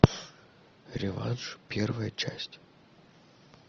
реванш первая часть